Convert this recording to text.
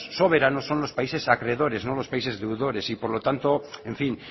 son los países acreedores no los países deudores y por lo tanto en fin